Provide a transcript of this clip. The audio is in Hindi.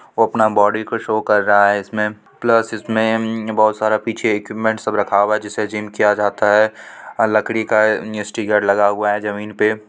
वो अपना बॉडी को शो कर रहा है इसमें प्लस इसमें बहुत सारा पीछे एक इक्विपमेंट सब रखा हुआ है जिससे जिम किया जाता है आ लड़की का स्टीकर लगा हुआ है जमीन पे।